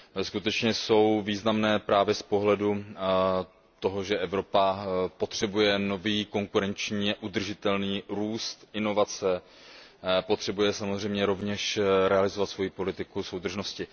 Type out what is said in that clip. Skutečně jsou významné právě z pohledu toho, že Evropa potřebuje nový konkurenčně udržitelný růst, inovace, potřebuje samozřejmě rovněž realizovat svoji politiku soudržnosti.